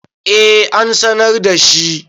eh an sanar da shi